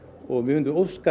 og við vildum óska